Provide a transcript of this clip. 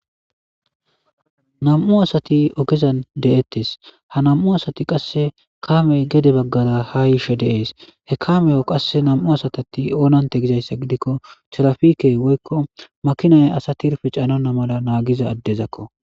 nam'u asati ogezan de'ettes ha nam'u asati qasse kaamey gedde baggara ha yiishe de'ees he kaameyo qasse nam'u asati oonante gizayssa gidikko tirafikey woykko maakinay asa tirfe caannonna mala naagiza addezakko